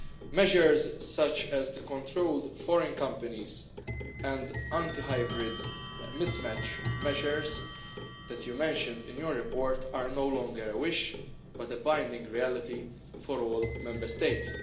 Measures such as the control of foreign companies and anti hybrid mismatch measures that you mention in your report are no longer a wish but a binding reality for all Member States.